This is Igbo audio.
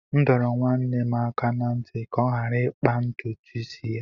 M dọrọ nwanne m aka ná ntị ka ọ ghara ịkpa ntutu isi ya